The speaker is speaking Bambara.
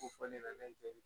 Ko fɔ ne nana jɔ